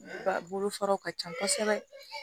Ba bolofaraw ka ca kosɛbɛ